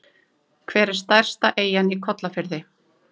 Hver er stærsta eyjan í Kollafirði?